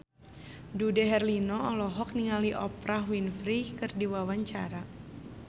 Dude Herlino olohok ningali Oprah Winfrey keur diwawancara